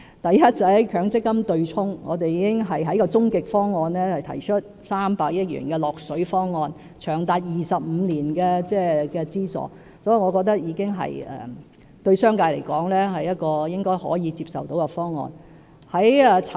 第一，在強積金對沖方面，我們已在終極方案提出300億元的"落水"方案，長達25年的資助，我認為對商界而言，是應該可以接受的方案。